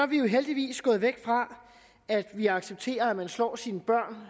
vi jo heldigvis gået væk fra at vi accepterer at man slår sine børn